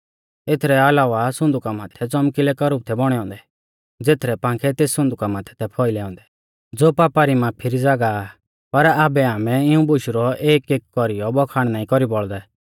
एथरै अलावा सुन्दुका माथै च़ौमकिलै करूब थै बौणै औन्दै ज़ेथरै पांखै तेस सुन्दुका माथै थै फौइलै औन्दै ज़ो पापा री माफी री ज़ागाह आ पर आबै आमै इऊं बुशु रौ एकएक कौरीयौ बखान नाईं कौरी बौल़दै